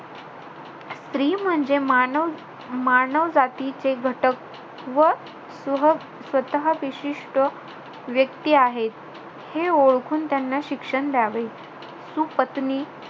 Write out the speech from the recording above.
स्त्री म्हणजे मानव~ मानव जातीचे घटक व सह~ स्वतः विशिष्ट व्यक्ती आहे. हे ओळखुन त्यांना शिक्षण द्यावे. सुपत्नी,